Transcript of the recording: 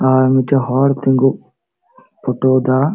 ᱟᱨ ᱢᱤᱫᱛᱮᱡ ᱦᱚᱲ ᱛᱤᱱᱜᱩ ᱯᱷᱳᱴᱳᱭ ᱫᱟ᱾